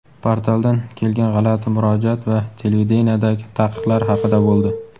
portaldan kelgan g‘alati murojaat va televideniyedagi taqiqlar haqida bo‘ldi.